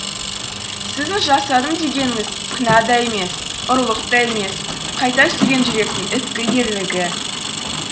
сіздің жасадым дегеніңіз күнә да емес ұрлық та емес қайта сүйген жүректің ізгі ерлігі